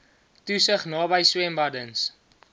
toesig naby swembaddens